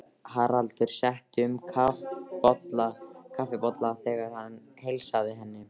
Haraldur setti um kaffibolla þegar hann heilsaði henni.